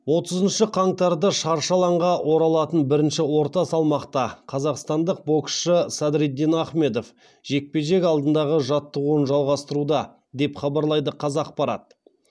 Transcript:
отызыншы қаңтарда шаршы алаңға оралатын бірінші орта салмақта қазақстандық боксшы садриддин ахмедов жекпе жек алдындағы жаттығуын жалғастыруда деп хабарлайды қазақпарат